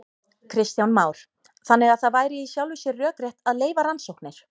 Kristján Már: Þannig að það væri í sjálfu sér rökrétt að leyfa rannsóknir?